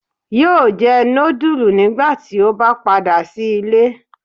Yóò jẹ nudulú nigbati o ba pada si ile